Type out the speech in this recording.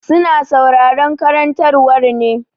Su na sauraron karantarwa ne.